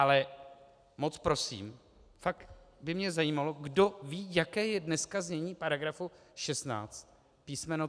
Ale moc prosím, fakt by mě zajímalo, kdo ví, jaké je dneska znění paragrafu 16 písm.